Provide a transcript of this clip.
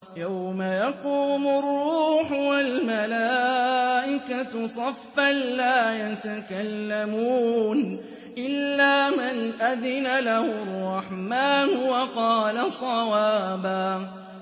يَوْمَ يَقُومُ الرُّوحُ وَالْمَلَائِكَةُ صَفًّا ۖ لَّا يَتَكَلَّمُونَ إِلَّا مَنْ أَذِنَ لَهُ الرَّحْمَٰنُ وَقَالَ صَوَابًا